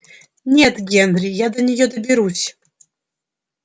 нет генри я до неё доберусь